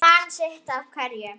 Ég man sitt af hverju